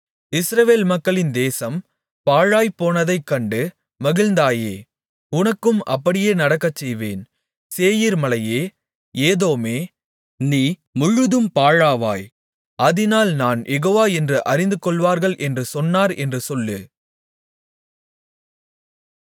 இஸ்ரவேல் மக்களின் தேசம் பாழாய்ப்போனதைக் கண்டு மகிழ்ந்தாயே உனக்கும் அப்படியே நடக்கச்செய்வேன் சேயீர்மலையே ஏதோமே நீ முழுதும் பாழாவாய் அதினால் நான் யெகோவா என்று அறிந்துகொள்வார்களென்று சொன்னார் என்று சொல்லு